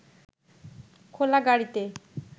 খোলা গাড়ীতে